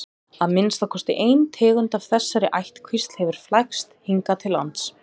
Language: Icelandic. að minnsta kosti ein tegund af þessari ættkvísl hefur flækst hingað til lands